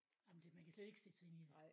Ej men det man kan slet ikke sætte sig ind i det